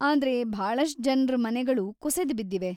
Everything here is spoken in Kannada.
ಆದ್ರೆ ಭಾಳಷ್ಟ್ ಜನ್ರ ಮನೆಗಳು ಕುಸಿದ್ ಬಿದ್ದಿವೆ.